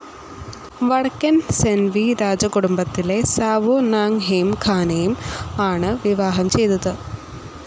വടക്കൻ ഹ്സെൻവി രാജകുടുംബത്തിലെ Sao Nang Hearn ഖാംനെ ആണ് വിവാഹം ചെയ്തത്.